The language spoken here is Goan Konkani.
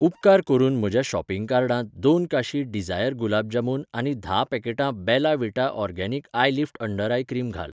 उपकार करून म्हज्या शॉपिंग कार्डांत दोन काशी डिझायर गुलाब जामुन आनी धा पॅकेटां Bella Vita organic eyelift under eye cream घाल